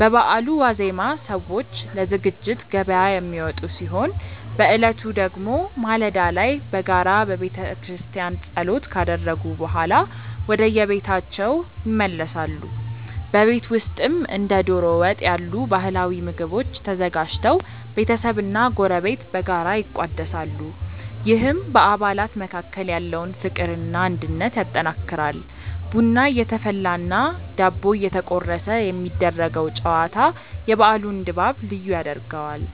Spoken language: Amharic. በበዓሉ ዋዜማ ሰዎች ለዝግጅት ገበያ የሚወጡ ሲሆን፣ በዕለቱ ደግሞ ማለዳ ላይ በጋራ በቤተክርስቲያን ጸሎት ካደረጉ በኋላ ወደየቤታቸው ይመለሳሉ። በቤት ውስጥም እንደ ዶሮ ወጥ ያሉ ባህላዊ ምግቦች ተዘጋጅተው ቤተሰብና ጎረቤት በጋራ ይቋደሳሉ፤ ይህም በአባላት መካከል ያለውን ፍቅርና አንድነት ያጠናክራል። ቡና እየተፈላና ዳቦ እየተቆረሰ የሚደረገው ጨዋታ የበዓሉን ድባብ ልዩ ያደርገዋል።